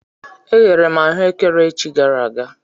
E ghere m ahụekere echi gara aga.